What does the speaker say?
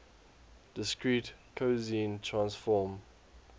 discrete cosine transform